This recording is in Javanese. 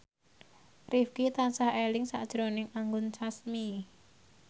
Rifqi tansah eling sakjroning Anggun Sasmi